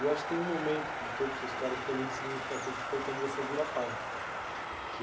Eu acho que tem um momento de toda sua história que foi muito significativo, que foi quando você vira pai. Que...